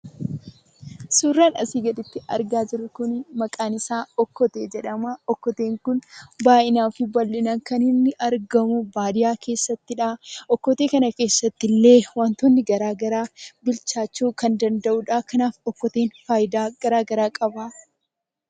Suuraan asi gaditti argaa jirru kun maqaan isaa okkotee jedhama. okkoteen kun baay'inaa fi bal'inaan kaniinni argamu baadiyyaa keessattidha. okkotee kana keessattillee wantoonni garaagaraa bilchaachuu kan danda'udha. kanaaf okkoteen faayidaa garaagara qaba.